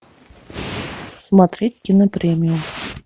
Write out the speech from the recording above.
смотреть кинопремию